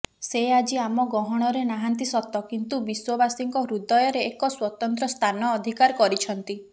ସେ ଆଜି ଆମ ଗହଣରେ ନାହାନ୍ତି ସତ କିନ୍ତୁ ବିଶ୍ୱବାସୀଙ୍କ ହୃଦୟରେ ଏକ ସ୍ୱତନ୍ତ୍ର ସ୍ଥାନ ଅଧିକାର କରିଛନ୍ତି